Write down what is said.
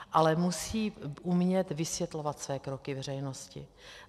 Ale musí umět vysvětlovat své kroky veřejnosti.